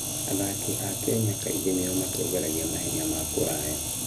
Athaki a Kenya kaingĩ nĩo matongoragia mahenya ma kũraya.